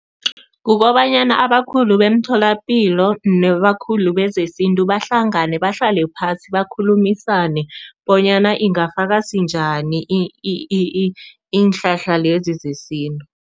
Kukobanyana abakhulu bemtholapilo nabakhulu bezesintu bahlangane, bahlale phasi, bakhulumisane bonyana ingafakwa sinjani iinhlahla lezi zesintu.